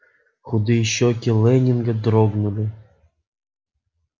худые щеки лэннинга дрогнули